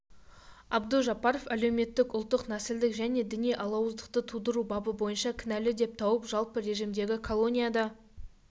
абдужаббаров әлеуметтік ұлттық нәсілдік және діни алауыздықты тудыру бабы бойынша кінәлі деп тауып жалпы режимдегі колонияда